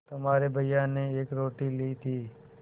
तुम्हारे भैया ने एक रोटी ली थी